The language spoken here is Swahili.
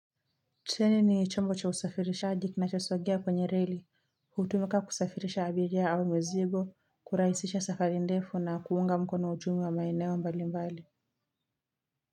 Cheni ni chombo cha usafirishaji kinachosongea kwenye reli. Hutumika kusafirisha abiria au mizigo kurahisisha safari ndefu na kuunga mkono uchumi wa maeneo mbali mbali.